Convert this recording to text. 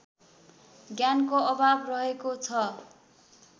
ज्ञानको अभाव रहेको छ